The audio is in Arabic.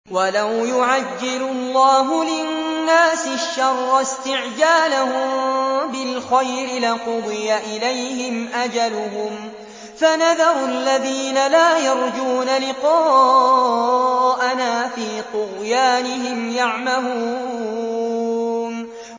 ۞ وَلَوْ يُعَجِّلُ اللَّهُ لِلنَّاسِ الشَّرَّ اسْتِعْجَالَهُم بِالْخَيْرِ لَقُضِيَ إِلَيْهِمْ أَجَلُهُمْ ۖ فَنَذَرُ الَّذِينَ لَا يَرْجُونَ لِقَاءَنَا فِي طُغْيَانِهِمْ يَعْمَهُونَ